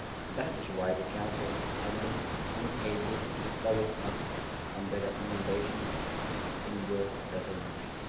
That is why the Council has been unable to follow up on the recommendations in your resolution.